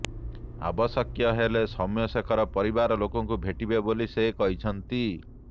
ଆବଶ୍ୟକ ହେଲେ ସୌମ୍ୟଶେଖରଙ୍କ ପରିବାର ଲୋକଙ୍କୁ ଭେଟିବେ ବୋଲି ସେ କହିଛନ୍ତି